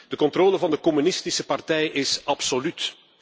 De controle van de communistische partij is absoluut.